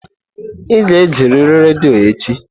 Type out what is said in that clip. Ị ga-egerịrị redio echi!